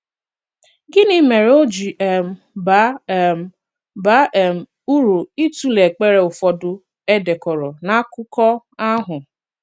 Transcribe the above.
Gịnị mere o ji um bàá um bàá um uru ịtụlee èkpere ụfọdụ e dekọ̀rọ̀ n’akụkọ̀ ahụ?